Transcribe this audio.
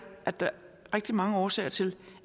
at der er rigtig mange årsager til